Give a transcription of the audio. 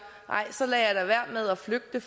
nej så lader jeg da være med at flygte